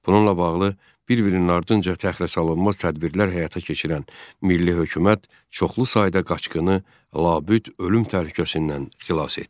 Bununla bağlı bir-birinin ardınca təxirəsalınmaz tədbirlər həyata keçirən Milli Hökumət çoxlu sayda qaçqını labüd ölüm təhlükəsindən xilas etdi.